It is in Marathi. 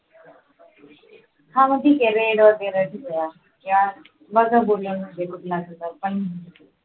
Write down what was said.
हा मग ठीक आहे red वगैरे ठेवूया या बघा दोन्हीमध्ये कुठला घेता पण